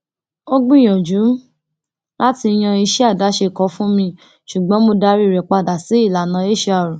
ó gbìyànjú láti yan iṣẹ àdáṣe kan fún mi ṣùgbọn mo darí rẹ padà sí ìlànà hr